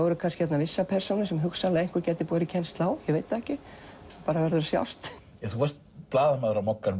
eru kannski vissar persónur sem hugsanlega einhver gæti borið kennsl á það bara verður að sjást þú varst blaðamaður á Mogganum